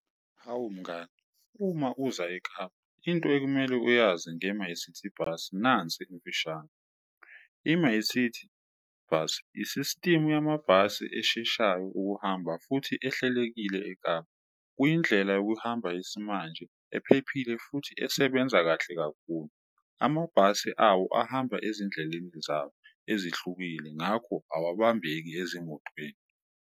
Hawu mngani, uma uza eKapa into ekumele uyazi nge-MyCiti Bus nansi emfishane. I-MyCiti Bus isistimu yamabhasi esheshayo ukuhamba futhi ehlelekile eKapa. Kuyindlela yokuhamba yesimanje ephephile futhi esebenza kahle kakhulu, amabhasi awo ahamba ezindleleni zawo ezihlukile, ngakho akabambeki ezimotweni.